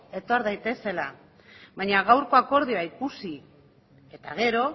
etor daitezela baina gaurko akordioa ikusi eta gero